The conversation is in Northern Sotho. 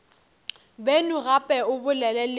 beno gape o bolele le